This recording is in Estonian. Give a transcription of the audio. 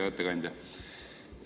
Hea ettekandja!